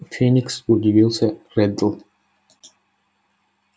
феникс удивился реддл